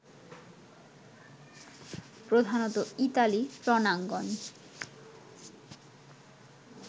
প্রধানত ইতালি রনাঙ্গন